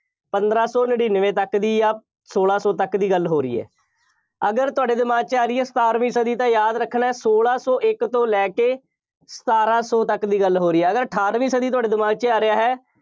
ਪੰਦਰਾਂ ਸੌਂ ਨੜਿੱਨਵੇਂ ਤੱਕ ਦੀ ਜਾਂ ਸੋਲਾਂ ਤੱਕ ਦੀ ਗੱਲ ਹੋ ਰਹੀ ਹੈ। ਅਗਰ ਤੁਹਾਡੇ ਦਿਮਾਗ 'ਚ ਆ ਰਹੀ ਹੈ, ਸਤਾਰਵੀਂ ਸਦੀ ਤਾਂ ਯਾਦ ਰੱਖਣਾ, ਸੋਲਾਂ ਸੌ ਇੱਕ ਤੋਂ ਲੈ ਕੇ ਸਤਾਰਾਂ ਸੌ ਤੱਕ ਦੀ ਗੱਲ ਹੋ ਰਹੀ ਹੈ। ਅਗਰ ਅਠਾਰਵੀਂ ਸਦੀ ਤੁਹਾਡੇ ਦਿਮਾਗ 'ਚ ਆ ਰਿਹਾ ਹੈ।